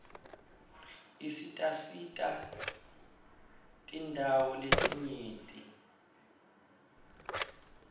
isisitasati tindawo letinyenti